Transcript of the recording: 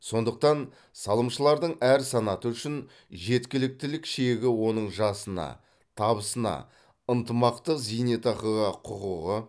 сондықтан салымшылардың әр санаты үшін жеткіліктілік шегі оның жасына табысына ынтымақтық зейнетақыға құқығы